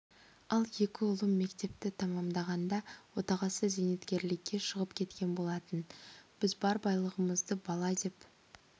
ал екі ұлым мектепті тәмамдағанда отағасы зейнеткерлікке шығып кеткен болатын біз бар байлығымыз бала деп